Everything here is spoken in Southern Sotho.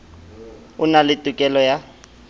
o na le tokelo ya